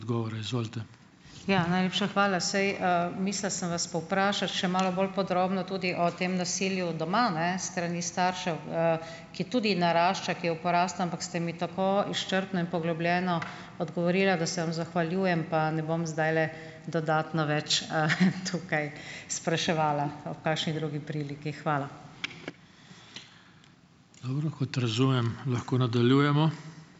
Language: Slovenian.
Ja, najlepša hvala. Saj, mislila sem vas povprašati še malo bolj podrobno tudi o tem nasilju doma, ne, s strani staršev, ki tudi narašča, ki je v porastu, ampak ste mi tako izčrpno in poglobljeno odgovorili, da se vam zahvaljujem, pa ne bom zdajle dodatno več, tukaj spraševala. Pa ob kakšni drugi priliki. Hvala.